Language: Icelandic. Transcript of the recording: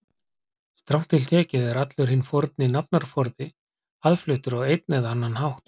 Strangt til tekið er allur hinn forni nafnaforði aðfluttur á einn eða annan hátt.